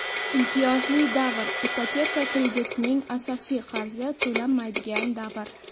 Imtiyozli davr – ipoteka kreditining asosiy qarzi to‘lanmaydigan davr.